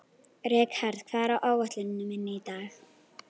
Rikharð, hvað er á áætluninni minni í dag?